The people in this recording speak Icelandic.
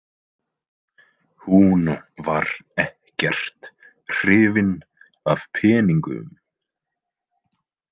Hún var ekkert hrifin af peningum.